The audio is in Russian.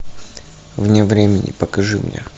вне времени покажи мне